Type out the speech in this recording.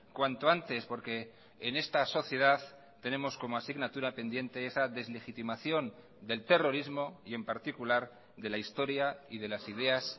cuanto antes porque en esta sociedad tenemos como asignatura pendiente esa deslegitimación del terrorismo y en particular de la historia y de las ideas